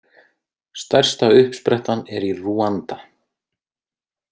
Stærsta uppsprettan er í Rúanda.